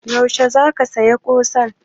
Yaushe za ka saya ƙusan?